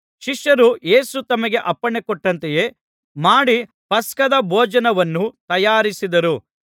ಶಿಷ್ಯರು ಯೇಸು ತಮಗೆ ಅಪ್ಪಣೆಕೊಟ್ಟಂತೆಯೇ ಮಾಡಿ ಪಸ್ಕದ ಭೋಜನವನ್ನು ತಯಾರಿಸಿದರು